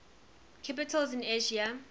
capitals in asia